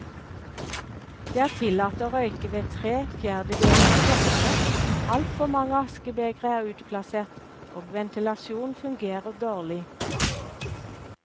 Det er tillatt å røyke ved tre fjerdedeler av plassene, altfor mange askebegre er utplassert og ventilasjonen fungerer dårlig.